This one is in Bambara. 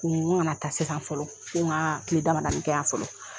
Nin ko n ga na taa sesan fɔlɔ, ko n ga kile damadani kɛ yan fɔlɔ